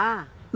Ah!